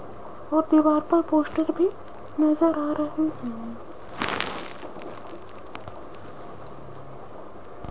और दीवार पर पोस्टर भी नजर आ रहे हैं।